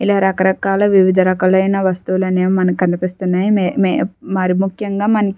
ఇలా రకరకాల వివిధ రకాలైన వస్తువులనేవి మనకి కనిపిస్తున్నాయి. మీ-మీ-మరి ముక్యంగా మనకి --